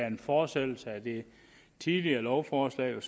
en fortsættelse af det tidligere lovforslag